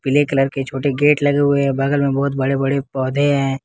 पीले कलर के छोटे गेट लगे हुए बगल में बहुत बड़े बड़े पौधे हैं।